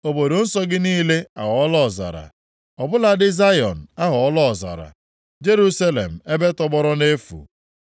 Obodo nsọ gị niile aghọọla ọzara; ọ bụladị Zayọn aghọọla ọzara, Jerusalem, ebe tọgbọrọ nʼefu.